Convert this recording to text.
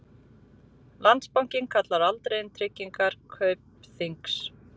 Landsbankinn kallaði aldrei inn tryggingar Kaupþings